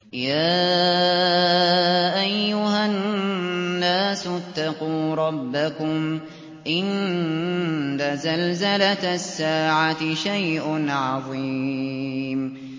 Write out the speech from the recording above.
يَا أَيُّهَا النَّاسُ اتَّقُوا رَبَّكُمْ ۚ إِنَّ زَلْزَلَةَ السَّاعَةِ شَيْءٌ عَظِيمٌ